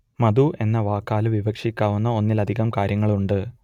മധു എന്ന വാക്കാൽ വിവക്ഷിക്കാവുന്ന ഒന്നിലധികം കാര്യങ്ങളുണ്ട്